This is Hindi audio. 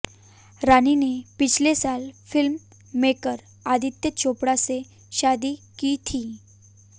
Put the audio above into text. रानी ने पिछले साल फिल्म मेकर आदित्य चोपड़ा से शादी की थी